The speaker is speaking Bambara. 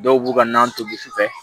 Dɔw b'u ka na tobi wusufɛ